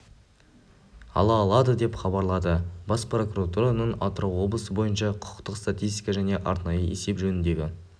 ала алады деп хабарлады бас прокуратураның атырау облысы бойынша құқықтық статистика және арнайы есеп жөніндегі